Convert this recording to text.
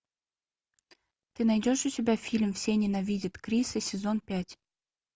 ты найдешь у себя фильм все ненавидят криса сезон пять